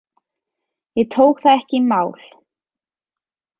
Ég tók það ekki í mál.